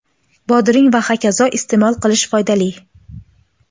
bodring va h.k) iste’mol qilish foydali.